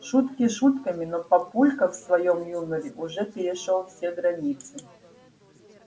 шутки шутками но папулька в своём юморе уже перешёл все границы